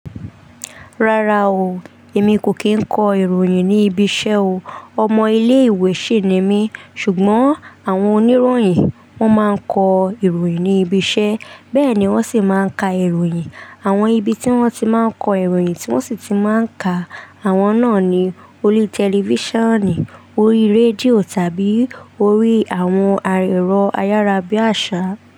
Rara o emi ko kin kọ iroyin ni ibi ṣẹ o. Ọmọ ilé ìwé ṣì ni mí. Ṣùgbọ́n àwọn oníròyìn wọ́n máa ń kọ ìròyìn ní ibi iṣẹ́, bẹ́ẹ̀ ni wọ́n sì máa ń ka ìròyìn. Àwọn ibi tí wọ́n ti máa ń kọ ìròyìn tí wọ́n sì ti máa ń ka àwọn náà ni orí tẹlifíṣànì, orí rédíò tàbí orí àwọn ẹ̀rọ ayarabiasa.